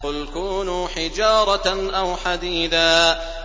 ۞ قُلْ كُونُوا حِجَارَةً أَوْ حَدِيدًا